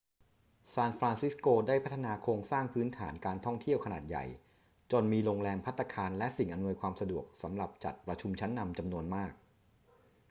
ซานฟรานซิสโกได้พัฒนาโครงสร้างพื้นฐานทางการท่องเที่ยวขนานใหญ่จนมีโรงแรม ภัตตาคาร และสิ่งอำนวยความสะดวกสำหรับจัดประชุมชั้นนำจำนวนมาก